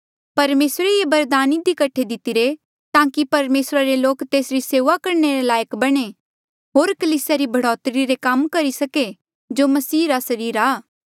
परमेसरे ये बरदान इधी कठे दितिरे ताकि परमेसरा रे लोक तेसरी सेऊआ करणे रे लायक बणे होर कलीसिया री बढ़ौतरी रे कठे काम करी सके जो मसीह रा सरीर आ